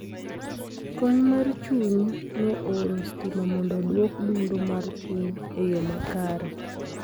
kony mar chuny no oro stima mondo oduok dundo mar chuny e yo makare